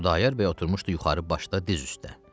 Xudayar bəy oturmuşdu yuxarı başda diz üstə.